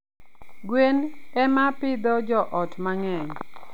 gwen ema pidho joot mang'eny.